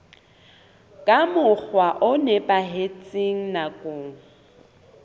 ka mokgwa o nepahetseng nakong